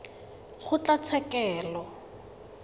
kgotlatshekelo